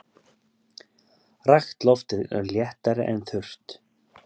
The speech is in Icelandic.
Rakt loft er léttara en þurrt.